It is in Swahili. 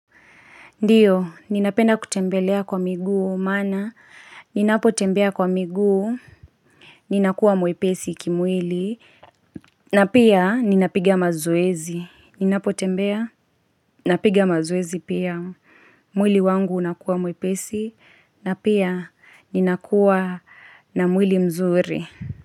Ndiyo, ninapenda kutembelea kwa miguu, maana, ninapotembea kwa miguu, ninakuwa mwepesi kimwili, na pia ninapiga mazoezi. Ninapotembea, napiga mazoezi pia, mwili wangu unakuwa mwepesi, na pia ninakuwa na mwili mzuri.